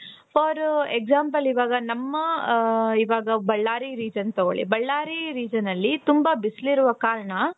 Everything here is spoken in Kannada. For example ಇವಾಗ ನಮ್ಮ ಇವಾಗ ಬಳ್ಳಾರಿ region ತಗೊಳ್ಳಿ ಬಳ್ಳಾರಿ regionನಲ್ಲಿ ತುಂಬಾ ಬಿಸಿಲಿರೋ ಕಾರಣ.